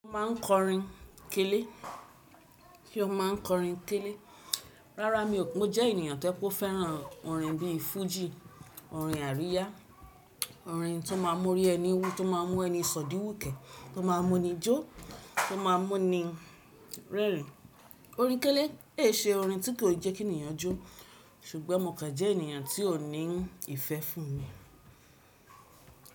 Ó máa ń kọrin kélé. Kí ó máa ń kọrin kélé. Rárá mi ò, mo jẹ́ ènìyàn tó ẹ pe o fẹ́ràn orin bí i fújì, orin àríyá, orin tó máa ń mú o rí ẹni wú, tó máa ń mú ẹni sòdí wùkẹ́, tó máa ń mú ni jó, tó máa ń mú ni rẹ́rìn. Orin kélé è ṣe orin tí kò jẹ́ kí ènìyàn jó. Ṣùgbọ́n mọ̀ọ́kàn jẹ́ ènìyàn tí ò ní ìfẹ́ fún mi.